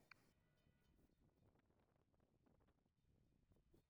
Aqoonsigu wuxuu kaa caawinayaa ka hortagga khiyaanada.